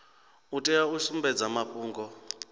u tea u sumbedza mafhungo